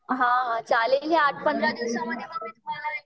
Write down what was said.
हां चालेल या आठ पंधरा दिवसामध्ये मग मी तुम्हाला